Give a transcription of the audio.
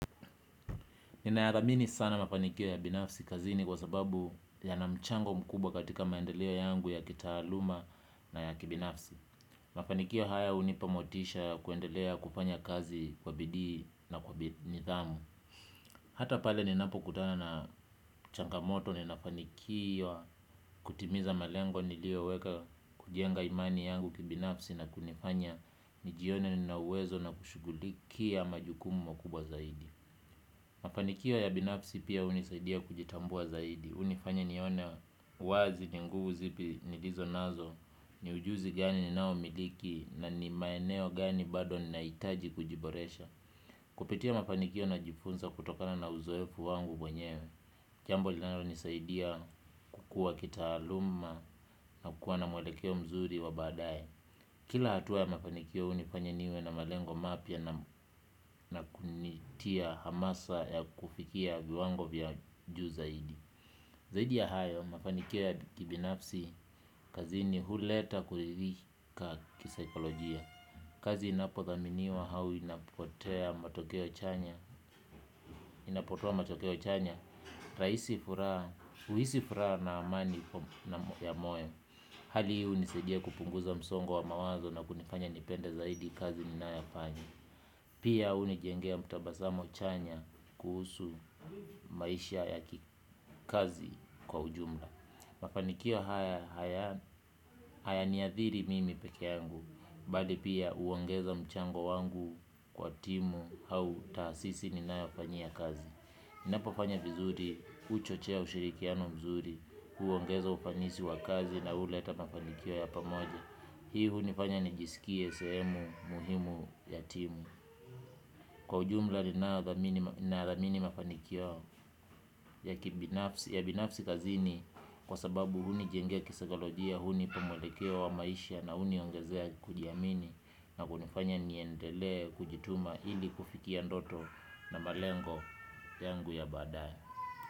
Ninayaramini sana mafanikio ya binafsi kazini kwa sababu yana mchango mkubwa katika maendeleo yangu ya kitaaluma na ya kibinafsi. Mafanikio haya unipamotisha ya kuendelea kufanya kazi kwa bidii na kwa nithamu. Hata pale ninapo kutana na changamoto ninafanikiwa kutimiza malengo nilioweka kujenga imani yangu kibinafsi na kunifanya nijione ninauwezo na kushugulikia majukumu makubwa zaidi. Mafanikio ya binafsi pia unisaidia kujitambua zaidi. Unifanya nione wazi ni nguvu zipi nilizo nazo. Ni ujuzi gani ninao miliki na ni maeneo gani bado ninaitaji kujiboresha. Kupitia mafanikio na jifunza kutokana na uzoefu wangu mwenyewa. Jambo linalo nisaidia kukua kitaaluma na kukua na mwelekeo mzuri wa baadaye. Kila hatua ya mafanikio unifanya niwe na malengo mapya na kunitia hamasa ya kufikia viwango vya juu zaidi. Zaidi ya hayo mafanikio ya kibinafsi kazini huleta kulirika kisaikolojia. Kazi inapothaminiwa hau inapotea matokeo chanya. Inapotoa matokeo chanya, uhisi furaha na amani ya moyo. Hali hii unisaidia kupunguza msongo wa mawazo na kunifanya nipenda zaidi kazi ninayofanya. Pia unijengea mtabasamo chanya kuhusu maisha ya kazi kwa ujumla. Mafanikio hayaniadhiri mimi peke yangu bali pia uongeza mchango wangu kwa timu au taasisi ninayofanyia kazi. Napofanya vizuri uchochea ushirikiano mzuri huongeza ufanisi wakazi na huleta mafanikio ya pamoja. Hii hunifanya nijisikie seehmu muhimu ya timu. Kwa ujumla ninayadhamini mafanikio ya binafsi kazini. Kwa sababu hunijengea kisaikolojia hunipa mwelekeo wa maisha na huniongezea kujiamini na kunifanya niendele kujituma. Hili kufikia ndoto na malengo yangu ya baadae.